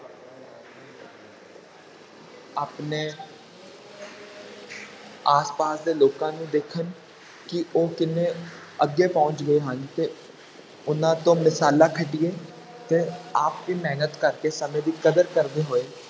ਆਪਣੇ ਆਸ ਪਾਸ ਦੇ ਲੋਕਾਂ ਨੂੰ ਦੇਖਣ ਕਿ ਉਹ ਕਿੰਨੇ ਅੱਗੇ ਪਹੁੰਚ ਗਏ ਹਨ ਤੇ ਉਹਨਾਂ ਤੋਂ ਮਿਸਾਲਾਂ ਖੱਟੀਏ ਤੇ ਆਪ ਵੀ ਮਿਹਨਤ ਕਰਕੇ ਸਮੇਂ ਦੀ ਕਦਰ ਕਰਦੇ ਹੋਏ